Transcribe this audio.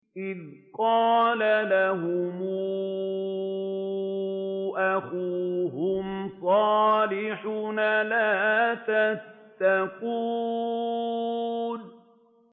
إِذْ قَالَ لَهُمْ أَخُوهُمْ صَالِحٌ أَلَا تَتَّقُونَ